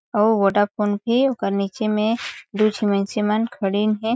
अउ वोडाफोन के ओकर निचे में दू झी मइनसे मन खड़े हे।